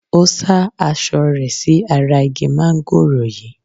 Ó sá aṣọ rẹ̀ sí ara igi mángòrò yìí.